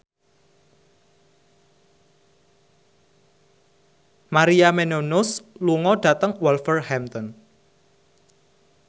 Maria Menounos lunga dhateng Wolverhampton